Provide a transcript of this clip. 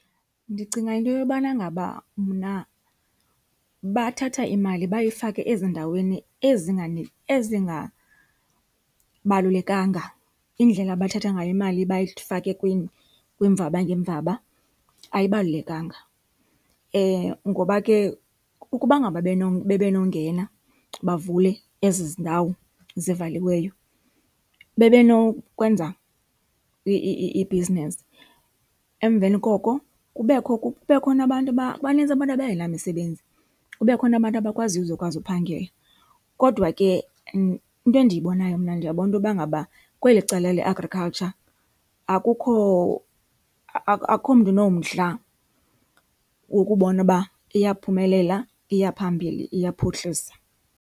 Ndicinga into yobana ngaba mna bathatha imali bayifake ezindaweni ezingabalulekanga, indlela abathatha ngayo imali bayifake kwiimvaba ngeemvaba ayibalulekanga. Ngoba ke ukuba ngaba bebenongena bavule ezi ndawo zivaliweyo bebenokwenza ibhizinesi, emveni koko kubekho, kube khona abantu , banintsi abantu abangena misebenzi, kube khona abantu abakwaziyo uzokwazi uphangela. Kodwa ke into endiyibonayo mna ndiyabona ukuba ngaba kweli cala le agriculture akukho, akukho mntu unomdla wokubona uba iyaphumelela, iya phambili, iyaphuhlisa.